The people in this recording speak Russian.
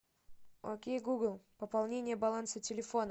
окей гугл пополнение баланса телефона